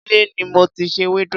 ilé ni mo ti se ewédú.